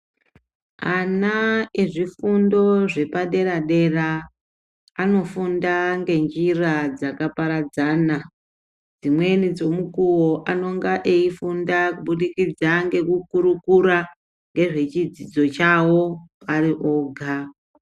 Ana ezvifundo zvepaderadera anofunda ngenjira dzakaparadzana .Dzimweni dzemukuwo anenge eifunda kubudikidza ngekukurukura ngezvechidzidzo chawo ari oga.